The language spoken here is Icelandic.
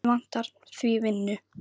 Mig vantar því vinnu.